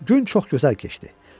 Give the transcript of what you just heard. Gün çox gözəl keçdi.